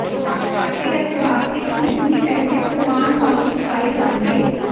ਆਟੇ ਅਤੇ ਬਾਸਕੇਟ ਖੁਦ ਹੀ ਪਹਿਲੇ ਪਕਵਾਨ ਵਾਂਗ ਹੀ ਪਕਾਏ ਜਾਣਗੇ